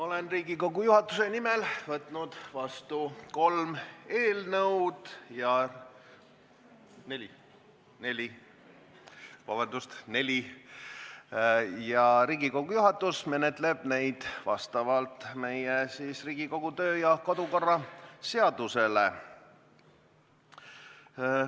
Olen Riigikogu juhatuse nimel võtnud vastu neli eelnõu ja Riigikogu juhatus menetleb neid vastavalt meie Riigikogu töö- ja kodukorra seadusele.